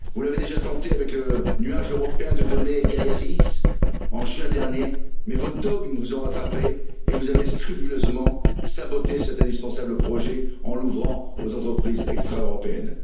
Vous l'avez déjà tenté avec le nuage européen de données Gaia X, en juin dernier, mais vos dogmes vous ont rattrapés et vous avez scrupuleusement saboté cet indispensable projet en l'ouvrant aux entreprises extra européennes.